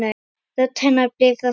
Rödd hennar bifast varla.